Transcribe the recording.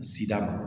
Sida